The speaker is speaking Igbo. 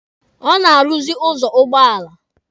Ọ na-arụzị dọọlụ ụgbọala.